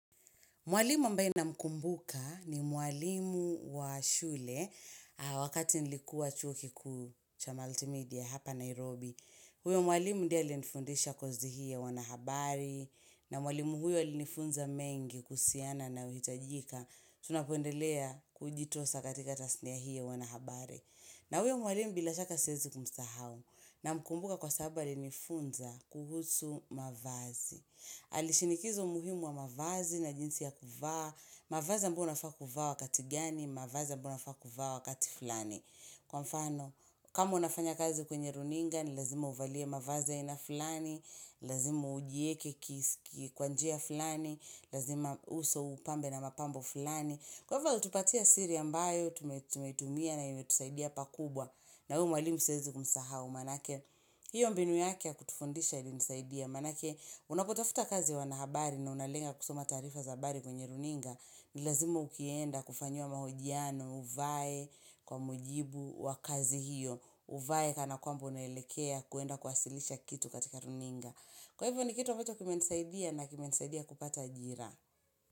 Mwalimu ambaye namkumbuka ni mwalimu wa shule wakati nilikuwa chuo kikuu cha multimedia hapa Nairobi. Huyo mwalimu ndiye alinifundisha kozi hii ya uanahabari na mwalimu huyo li nifunza mengi kuhusiana na inayohitajika. Tunapoendelea kujitosa katika tasnia hii ya wanahabari. Na huyo mwalimu bila shaka siwezi kumsahau namkumbuka kwa sababu alinifunza kuhusu mavazi. Alishinikizo muhimu wa mavazi na jinsi ya kufaa mavazi ambyo unafaa kuvaa wakati gani mavazi ambu unafaa kuvaa wakati fulani Kwa mfano, kama unafanya kazi kwenye runinga ni lazima uvalie mavazi ya ina fulani Lazima ujieke kwa njia fulani Lazima uso upambe na mapambo fulani Kwa mfano, utupatia siri ambayo Tumetumia na inayotusaidia pakubwa na huyu mwalimu siezi kumsahau Maanake, hiyo mbinu yake kutufundisha ilimsaidia maanake unakotafuta kazi wanahabari na unalenga kusoma taarifa zabari kwenye runinga ni lazima ukienda kufanyiwa mahojiano uvae kwa mujibu wa kazi hiyo Uvae kana kwambo unaelekea kuenda kuwasilisha kitu katika runinga Kwa hivyo ni kitu ambacho kimenisaidia na kimenisaidia kupata ajira.